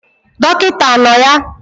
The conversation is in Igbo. Dọkịta anọ ya?